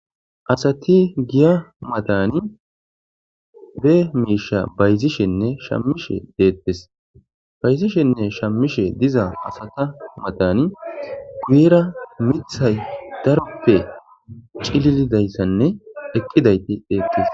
asati giya matani bee miisha bayzishenne shammishe deettes bayzishenne shammishe diza asata matani guyera mithay darope cililidayssanne eqqidayti deettes